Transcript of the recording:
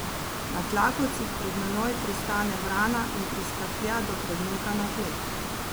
Na tlakovcih pred menoj pristane vrana in priskaklja do predmeta na tleh.